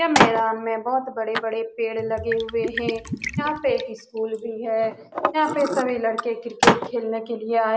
ये मैदान में बहुत बड़े-बड़े पेड़ लगे हुए है यहाँ पे एक स्कूल भी है यहाँ पे सब लड़के क्रिकेट खेलने के लिए आये --